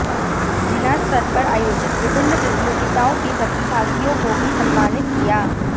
जिलास्तर पर आयोजित विभिन्न प्रतियोगिताओं के प्रतिभागियों को भी सम्मानित किया